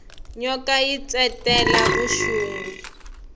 nyoka yi ntsetela vuxungi